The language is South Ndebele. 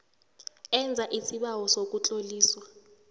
enza isibawo sokutloliswa